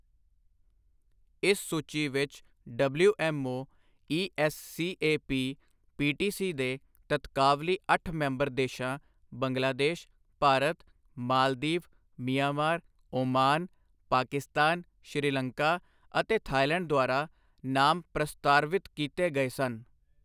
ਇਸ ਸੂਚੀ ਵਿੱਚ ਡਬਲਿਊਐੱਮਓ ਈਐੱਸਸੀਏਪੀ ਪੀਟੀਸੀ ਦੇ ਤਤਕਾਵਲੀ ਅੱਠ ਮੈਂਬਰ ਦੇਸ਼ਾਂ ਬੰਗਲਾਦੇਸ਼, ਭਾਰਤ, ਮਾਲਦੀਵ, ਮਿਆਂਮਾਰ, ਓਮਾਨ, ਪਾਕਿਸਤਾਨ, ਸ੍ਰੀ ਲੰਕਾ ਅਤੇ ਥਾਈਲੈਂਡ ਦੁਆਰਾ ਨਾਮ ਪ੍ਰਸਤਾਰਵਿਤ ਕੀਤੇ ਗਏ ਸਨ।